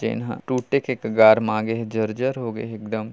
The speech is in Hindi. तेन हा टूटे के कगार म आगे हे जर-जर हो गे हे एकदम--